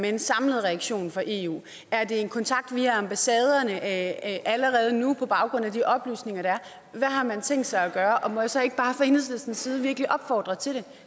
en samlet reaktion fra eu er der en kontakt via ambassaderne allerede nu på baggrund af de oplysninger der er hvad har man tænkt sig at gøre og må jeg så ikke bare fra enhedslistens side virkelig opfordre til det